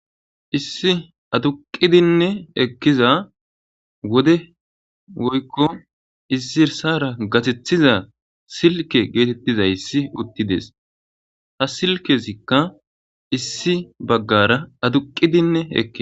issi aduqidinne ekkiza wode woykko izirsara gatethiza silke geetettizayssi uttides ha silkezikka issi baggara aduqqidinne eki